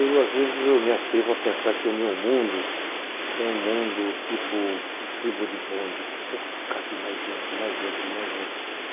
Eu às vezes eu me atrevo a pensar que o meu mundo é um mundo tipo estribo de bonde, que só cabe mais gente, mais gente, mais gente.